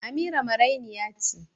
Amira marainiya ce